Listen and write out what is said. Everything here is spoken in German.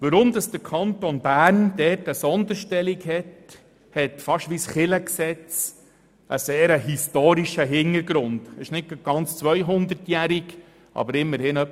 Weshalb der Kanton Bern hier eine Sonderstellung hat, hat fast wie das Kirchengesetz einen sehr historischen Hintergrund, obwohl dieser nicht 200-jährig, sondern etwa 35-jährig ist.